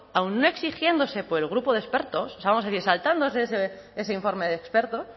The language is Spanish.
aun no exigiéndose por el grupo de expertos o sea vamos a decir saltándose ese informe de expertos